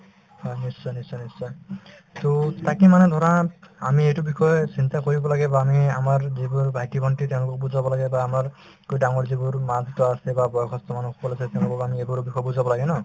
হয়, নিশ্চয় নিশ্চয় নিশ্চয় to তাকে মানে ধৰা আমি এইটো বিষয় চিন্তা কৰিব লাগে বা আমি আমাৰ যিবোৰ ভাইটি-ভণ্টি তেওঁলোকক বুজাব লাগে বা আমাৰতকৈ ডাঙৰ যিবোৰ মা-দেউতা আছে বা বয়সস্থ মানুহসকল আছে তেওঁলোকক আমি এইবোৰ বিষয় বুজাব লাগে ন